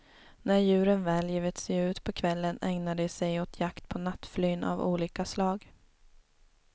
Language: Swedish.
När djuren väl givit sig ut på kvällen ägnar de såg åt jakt på nattflyn av olika slag.